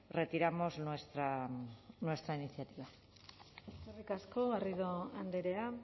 retiramos nuestra iniciativa eskerrik asko garrido andrea